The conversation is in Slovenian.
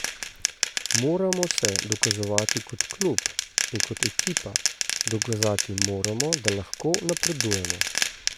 Moramo se dokazovati kot klub in kot ekipa, dokazati moramo, da lahko napredujemo.